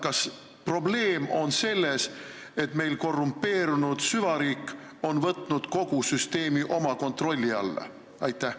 Kas probleem on selles, et meie korrumpeerunud süvariik on võtnud kogu süsteemi oma kontrolli alla?